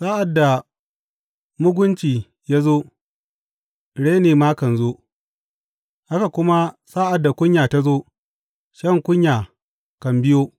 Sa’ad da mugunci ya zo, reni ma kan zo, haka kuma sa’ad da kunya ta zo, shan kunya kan biyo.